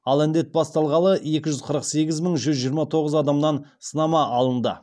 ал індет басталғалы екі жүз қырық сегіз мың жүз жиырма тоғыз адамнан сынама алынды